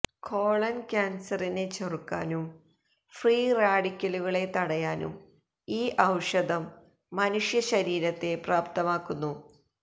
colon ക്യാന്സറിനെ ചെറുക്കാനും free റാഡിക്കലുകളെ തടയാനും ഈ ഔഷധം മനുഷ്യശരീരത്തെ പ്രാപ്തമാക്കുന്നു